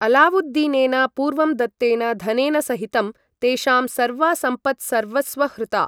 अलावुद्दीनेन पूर्वं दत्तेन धनेन सहितं, तेषां सर्वा सम्पत् सर्वस्वहृता।